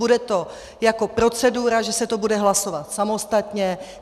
Bude to jako procedura, že se to bude hlasovat samostatně.